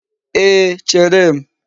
Ee, chere m.